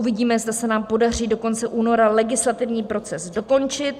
Uvidíme, zda se nám podaří do konce února legislativní proces dokončit.